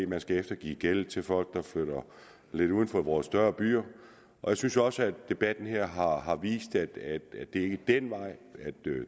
man skal eftergive gæld til folk der flytter lidt uden for vores større byer og jeg synes jo også at debatten her har har vist at det ikke er den vej